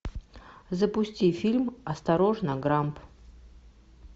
запусти фильм осторожно грамп